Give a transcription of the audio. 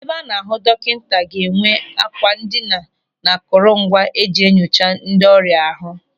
Ebe a na-ahụ dọkịta ga-enwe àkwà ndina na akụrụ ngwa e ji enyocha ndị ọrịa ahụ.